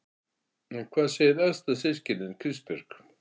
En hvað segir elsta systirin, Kristbjörg?